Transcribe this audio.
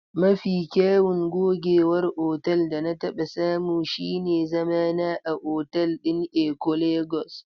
Mafi kyawun gogewar otal da na taɓa samu shine zamana a otal ɗin Eko Lagos.